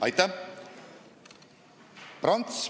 Aitäh!